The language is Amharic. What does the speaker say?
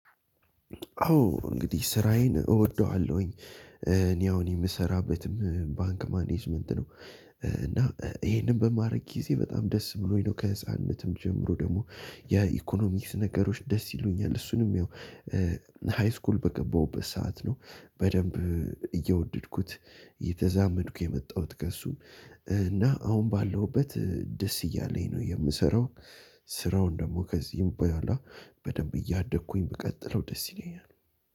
አዎ እንግዲህ ስራዬን እወደዋለሁኝ እኔ አሁን የምሰራበትም ባንክ ማኔጅመንት ነው እና ይሄንን በማድረግ ጊዜ በጣም ደስ ብሎኝ ነው። ከህፃንነትም ጀምሮ ደግሞ የኢኮኖሚክስ ነገሮች ደስ ይሉኛል እሱንም ያው ሀይስኩል በገበሁበት ሰዓት ነው። በደምብ የወደድኩት ለዘ ነው። አብሬ የመጣሁት ከሱጋር እና አሁን ባለሁበት ደስ እያለኝ ነው የምሰራው። ሰረውን ከሱጋር አየደኩኝ ብቀጥለው ደስ ይለኛል።